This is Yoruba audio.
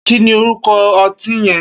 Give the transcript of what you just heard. Kini órúkọ̀ ọtin yẹ̀n?